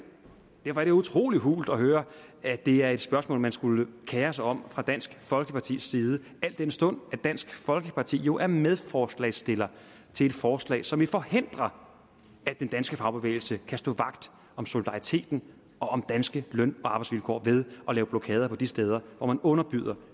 utrolig hult at høre at det er et spørgsmål man skulle kere sig om fra dansk folkepartis side al den stund at dansk folkeparti jo er medforslagsstiller til et forslag som vil forhindre at den danske fagbevægelse kan stå vagt om solidariteten og om danske løn og arbejdsvilkår ved at lave blokader på de steder hvor man underbyder